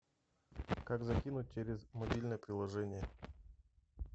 как закинуть через мобильное приложение